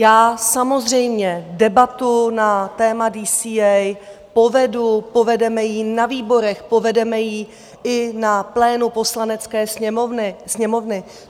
Já samozřejmě debatu na téma DCA povedu, povedeme ji na výborech, povedeme ji i na plénu Poslanecké sněmovny.